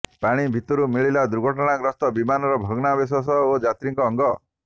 ପାଣି ଭିତରୁ ମିଳିଲା ଦୁର୍ଘଟଣାଗ୍ରସ୍ତ ବିମାନର ଭଗ୍ନାବଶେଷ ଓ ଯାତ୍ରୀଙ୍କ ଅଙ୍ଗ